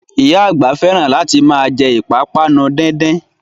Oya àgbà fẹ́ràn láti ma jẹ́ ìpápánu díndín